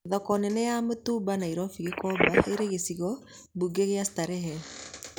Thoko nene ya mitumba Nairobi Gĩkomba rĩrĩ gĩcigo mbunge kĩa Starehe